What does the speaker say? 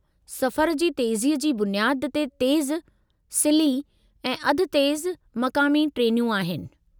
सफ़रु जी तेज़ीअ जी बुनियादु ते तेज़ु, सिल्ही ऐं अध-तेज़ु मक़ामी ट्रेनूं आहिनि।